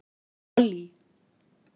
Pollý